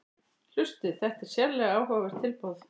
Hlustið: þetta er sérlega áhugavert tilboð